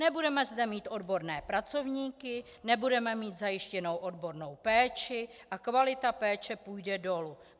Nebudeme zde mít odborné pracovníky, nebudeme mít zajištěnou odbornou péči a kvalita péče půjde dolů.